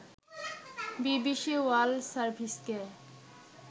BBC world সার্ভিসকে